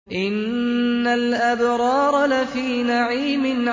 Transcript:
إِنَّ الْأَبْرَارَ لَفِي نَعِيمٍ